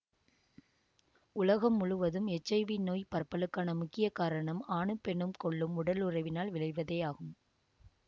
உலகம் முழுவதும் H I V நோய் பரப்பலுக்கான முக்கிய காரணம் ஆணும் பெண்ணும் கொள்ளும் உடலுறவினால் விளைவதேயாகும்